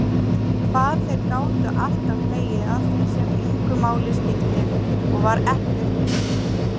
Hvað þeir gátu alltaf hlegið að því sem engu máli skipti og var ekkert fyndið.